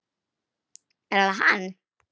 Er það hann?